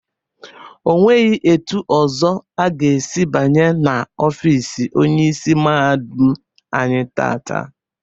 Onweghi etu ọzọ aga esi banye na ofiisi Onyeisi mahadum anyị taata.